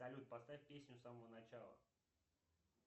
салют поставь песню с самого начала